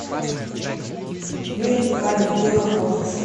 мир ткани где находится